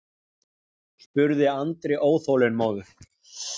spurði Andri óþolinmóður.